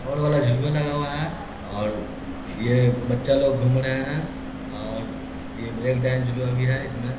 और वाला झुलवा लगा हुआ है और ये बच्चा लोग घूम रहे हैं और ये ब्रेक डांस झूलवा भी है इसमें।